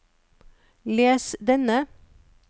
les denne